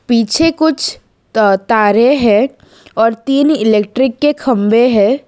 पीछे कुछ त तारे हैं और तीन इलेक्ट्रिक के खंबे है।